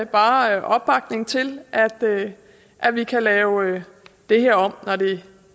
bare opbakning til at vi kan lave det her om når det